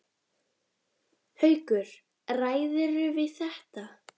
Haukur: Ræðirðu við þetta?